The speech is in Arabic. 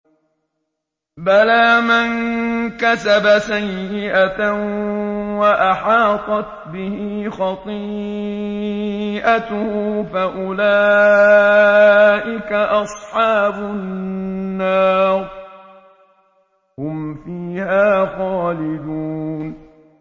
بَلَىٰ مَن كَسَبَ سَيِّئَةً وَأَحَاطَتْ بِهِ خَطِيئَتُهُ فَأُولَٰئِكَ أَصْحَابُ النَّارِ ۖ هُمْ فِيهَا خَالِدُونَ